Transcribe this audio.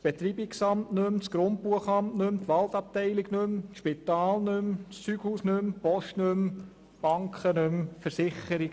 Ebenso fehlen das Betreibungsamt, das Grundbuchamt, die Spitalabteilung, die Waldabteilung, das Zeughaus, die Post, Banken und Versicherungen.